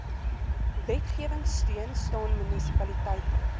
wetgewingsteun staan munisipaliteite